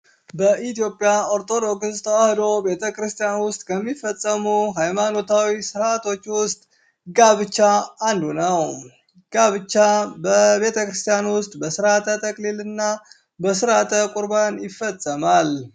በኢትዮጵያ ኦርቶዶክስ ተዋሕዶ ቤተክርስቲያን ውስጥ ከሚፈፀሙ ሀይማኖታዊ ስርዓቶች ውስጥ ጋብቻ አንዱ ነው። ጋብቻ በቤተክርስቲያን ውስጥ በስርዓተ ተክሊል እና በስርዓተ ቁርባን ይፈፀማል።